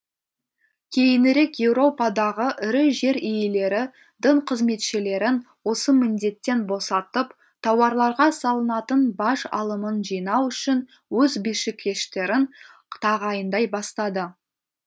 кейінірек еуропадағы ірі жер иелері дін қызметшілерін осы міндеттен босатып тауарларға салынатын баж алымын жинау үшін өз бишікештерін тағайындай бастады